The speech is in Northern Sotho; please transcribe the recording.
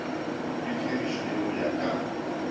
di dirišwe go ya ka